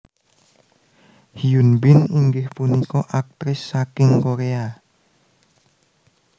Hyun Bin inggih punika aktris saking Koréa